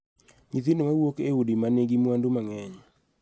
Nyithindo ma wuok e udi ma nigi mwandu mang�eny